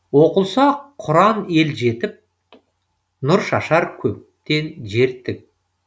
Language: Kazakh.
оқылса құран ел жетіп нұр шашар көктен жер тік